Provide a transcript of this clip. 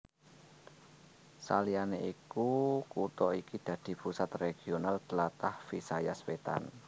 Saliyané iku kutha iki dadi pusat regional tlatah Visayas Wétan